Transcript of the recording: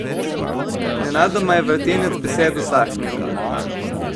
Nenadoma je vrtinec besed usahnil.